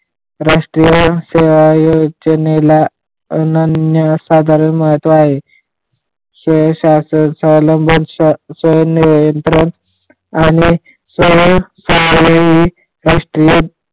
राष्ट्रीय सेवा योजनेला अनन्य असा दर महत्व आहे. आणि